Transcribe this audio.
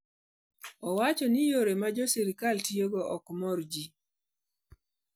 Owacho ni yore ma jotend sirkal tiyogo ok mor ji.